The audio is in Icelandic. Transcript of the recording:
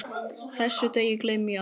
Þessum degi gleymi ég aldrei.